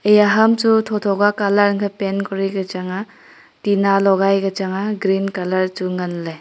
eya ham Chu thotho ka colour angkhe paint kori ka chang aa tinna logai ka changa green chu nganley.